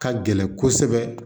Ka gɛlɛn kosɛbɛ